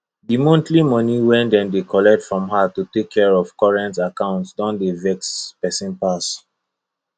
the monthly money wey dem dey collect from her to take care of current account don dey vex person pass